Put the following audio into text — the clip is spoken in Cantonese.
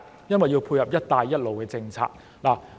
因為要配合"一帶一路"政策。